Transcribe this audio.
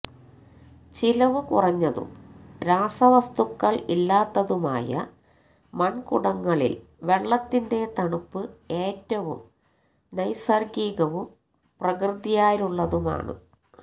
ചിലവുകുറഞ്ഞതും രാസവസ്തുക്കള് ഇല്ലാത്തതുമായ മണ്കുടങ്ങളില് വെള്ളത്തിന്റെ തണുപ്പ് ഏറ്റവും നൈസര്ഗികവും പ്രകൃത്യാലുളളതുമാണ്